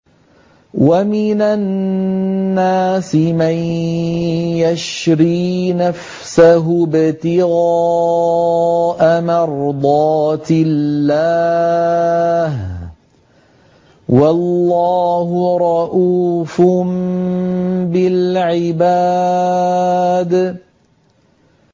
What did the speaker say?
وَمِنَ النَّاسِ مَن يَشْرِي نَفْسَهُ ابْتِغَاءَ مَرْضَاتِ اللَّهِ ۗ وَاللَّهُ رَءُوفٌ بِالْعِبَادِ